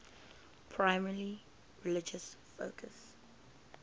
primarily religious focus